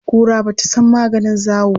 Kura ba ta san maganin zawo ba.